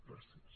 gràcies